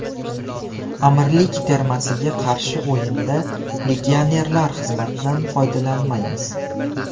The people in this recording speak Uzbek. Amirlik termasiga qarshi o‘yinda legionerlar xizmatidan foydalanmaymiz.